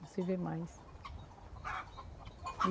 Não se vê mais.